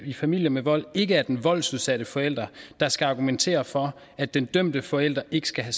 i familier med vold ikke er den voldsudsatte forælder der skal argumentere for at den dømte forælder ikke skal